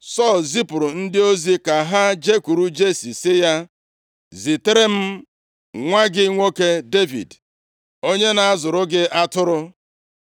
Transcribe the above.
Sọl zipụrụ ndị ozi ka ha jekwuru Jesi sị ya, “Zitere m nwa gị nwoke Devid, onye na-azụrụ gị atụrụ.”